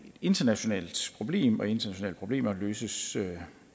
internationalt problem og internationale problemer løses